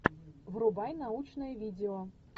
врубай научное видео